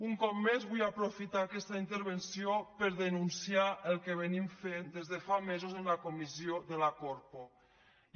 un cop més vull aprofitar aquesta intervenció per denunciar cosa que fem des de fa mesos en la comissió de la corpo